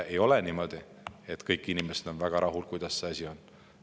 Ei ole niimoodi, et kõik inimesed on väga rahul sellega, kuidas asjad on.